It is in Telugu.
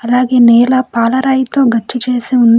అలాగే నేల పాలరాయితో గచ్చు చేసి ఉంది.